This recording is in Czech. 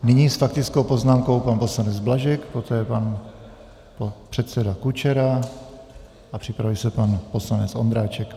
Nyní s faktickou poznámkou pan poslanec Blažek, poté pan předseda Kučera a připraví se pan poslanec Ondráček.